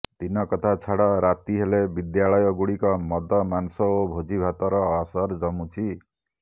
ଦିନକଥା ଛାଡ଼ ରାତି ହେଲେ ବିଦ୍ୟାଳୟଗୁଡ଼ିକ ମଦ ମାଂସ ଓ ଭୋଜିଭାତର ଆସର ଜମୁଛି